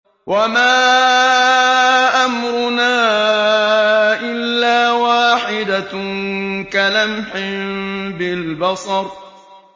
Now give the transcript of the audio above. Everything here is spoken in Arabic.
وَمَا أَمْرُنَا إِلَّا وَاحِدَةٌ كَلَمْحٍ بِالْبَصَرِ